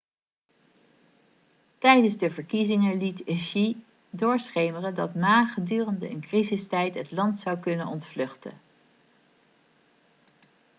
tijdens de verkiezingen liet hsieh doorschemeren dat ma gedurende een crisistijd het land zou kunnen ontvluchten